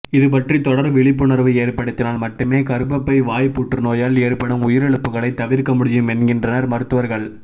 இதுபற்றி தொடர் விழிப்புஉணர்வு ஏற்படுத்தினால் மட்டுமே கர்ப்பப்பை வாய் புற்றுநோயால் ஏற்படும் உயிரிழப்புகளைத் தவிர்க்க முடியும் என்கின்றனர் மருத்துவர்கள்